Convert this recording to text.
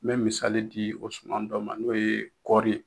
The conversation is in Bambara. N bɛ misali di o suma dɔ ma n'o ye kɔɔri